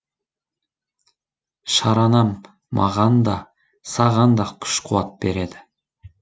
шаранам маған да саған да күш қуат береді